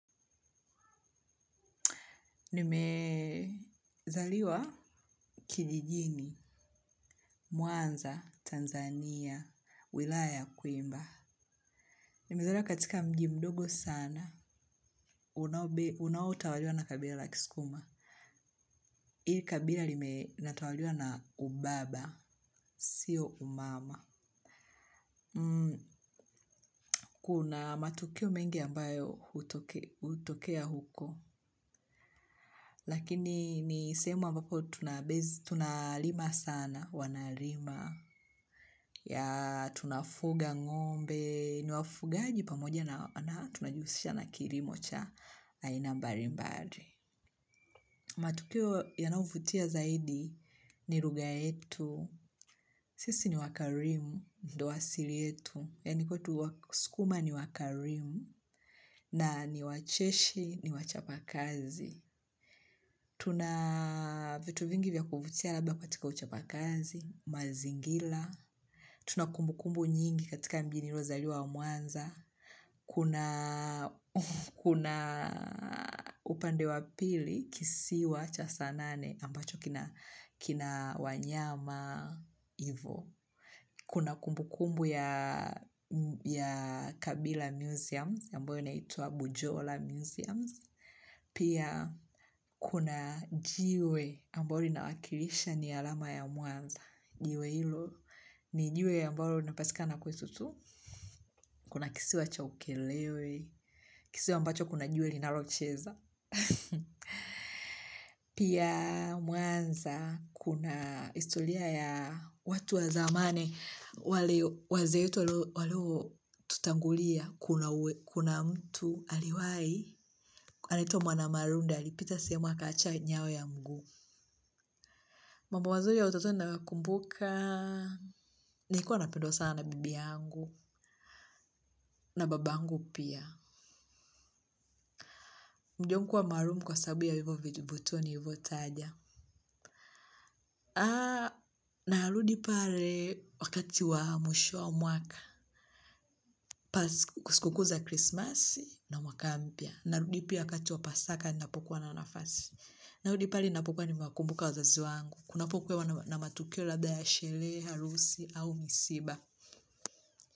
Nimezaliwa kijijini, mwanza, Tanzania, wilaya ya kwimba. Nimezaliwa katika mji mdogo sana unao unao tawaliwa na kabila la kisukuma. Ili kabila lime linatawaliwa na ubaba. Sio umama. Kuna matukio mengi ambayo hutokea huko. Lakini ni sehemu ambapo tunalima sana wanalima. Ya tunafuga ng'ombe, ni wafugaji pamoja na tunajihusisha na kilimo cha aina mbalimbali. Matukio yanayovutia zaidi ni lugha yetu, sisi ni wakarimu, ndio asili yetu. Yani kwetu wasukuma ni wakarimu na ni wacheshi ni wachapakazi. Tuna vitu vingi vya kuvutia labda katika uchapakazi, mazingira. Tuna kumbukumbu nyingi katika mji niliozaliwa wa mwanza. Kuna upande wa pili kisiwa cha saa nane ambacho kina wanyama ivo. Kuna kumbukumbu ya Kabila Museums, ambayo naitwa Bujola Museums. Pia kuna jiwe ambalo linawakilisha ni alama ya mwanza. Jiwe hilo, ni jiwe ambalo linapatikana kwetu tu kuna kisiwa cha ukerewe kisiwa ambacho kuna jiwe linalocheza pia mwanza kuna historia ya watu wa zamani wale wazee wetu waliotutangulia kuna mtu aliwai anaitwa mwanamalunda alipita sehemu akaacha nyayo ya mguu mambo mazuri ya utotoni ninayokumbuka nilikuwa napendwa sana na bibi yangu, na baba yangu pia. Mji wangu kuwa maalum kwa sababu ya hivyo vituo nilivyotaja. Narudi pale wakati wa mwisho wa mwaka, pasi sikukuu za krismasi, na mwaka mpya. Narudi pia wakati wa pasaka ninapokuwa na nafasi. Narudi pale ninapokuwa nimewakumbuka wazazi wangu. Kunapokuwa na matukio labda ya sherehe, harusi, au msiba.